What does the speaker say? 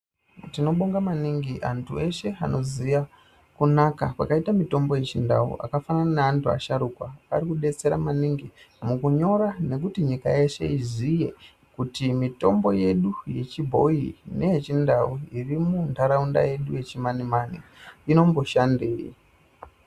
Tinobonga maningi antu eshe anoziya kunaka kwakaita mitombo yechindau akafanana neantu asharukwa ari kudetsera maningi mukunyora nekuti nyika yeshe izive kuti mitombo yedu yechibhoyi neyechindau iri munharaunda yedu yechimanimani inomboshandei.